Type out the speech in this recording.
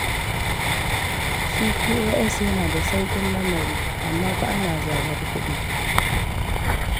Shi fi'o'yas yana da sauƙin lamari, amma fa ana zarar kuɗi.